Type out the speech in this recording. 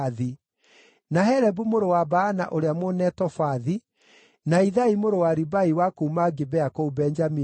na Helebu mũrũ wa Baana ũrĩa Mũnetofathi, na Ithai mũrũ wa Ribai wa kuuma Gibea kũu Benjamini,